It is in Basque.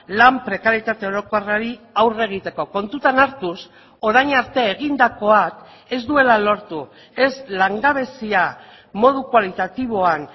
lan prekaritate orokorrari aurre egiteko kontutan hartuz orain arte egindakoak ez duela lortu ez langabezia modu kualitatiboan